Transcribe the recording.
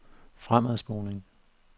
fremadspoling